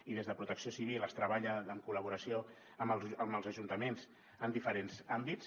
i des de protecció civil es treballa en col·laboració amb els ajuntaments en diferents àmbits